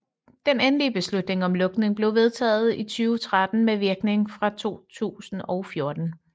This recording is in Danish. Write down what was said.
Den endelige beslutning om lukning blev vedtaget i 2013 med virkning fra 2014